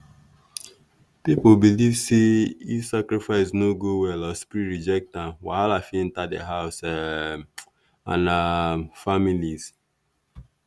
people believe say if sacrifice no go well or spirit reject am wahala fit enter the house um and um families